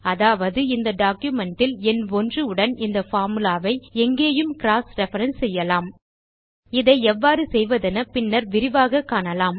அதாவது இந்த documentல் எண் 1 உடன் இந்த பார்முலா ஐ எங்கேயும் க்ராஸ் ரெஃபரன்ஸ் செய்யலாம் இதை எவ்வாறு செய்வதென பின்னர் விரிவாக காணலாம்